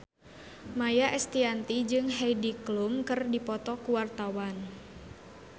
Maia Estianty jeung Heidi Klum keur dipoto ku wartawan